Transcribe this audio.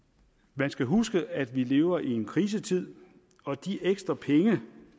man skal huske at vi lever i en krisetid og de ekstra penge